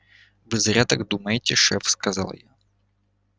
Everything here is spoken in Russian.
вы зря так думаете шеф сказал я